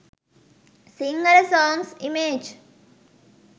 sinhala songs image